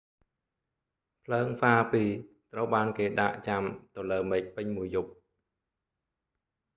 ភ្លើងហ្វារពីរត្រូវបានគេដាកចាំទៅលើមេឃពេញមួយយប់